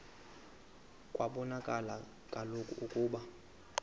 kwabonakala kaloku ukuba